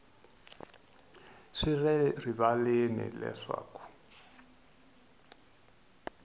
swi le rivaleni leswaku ku